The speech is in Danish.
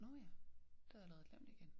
Nåh ja det havde jeg allerede glemt igen